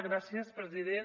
gràcies president